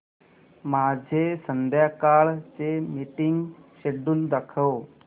माझे संध्याकाळ चे मीटिंग श्येड्यूल दाखव